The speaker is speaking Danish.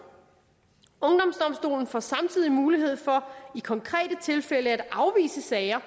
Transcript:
ungdomsdomstolen får samtidig mulighed for i konkrete tilfælde at afvise sager